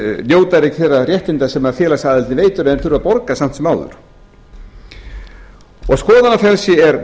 þeir ekki þeirra réttinda sem félagsaðildin veitir en þurfa að borga samt sem áður og skoðanafrelsi er